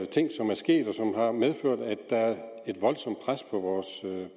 ting som er sket og som har medført at der er et voldsomt pres på vores